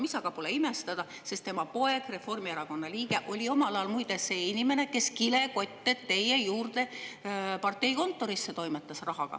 Polegi midagi imestada, sest tema poeg, Reformierakonna liige, oli omal ajal muide see inimene, kes kilekotte rahaga teie juurde parteikontorisse toimetas.